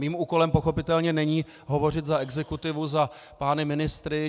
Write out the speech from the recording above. Mým úkolem pochopitelně není hovořit za exekutivu, za pány ministry.